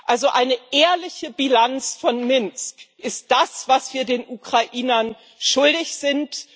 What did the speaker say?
Also eine ehrliche Bilanz von Minsk ist das, was wir den Ukrainern schuldig sind.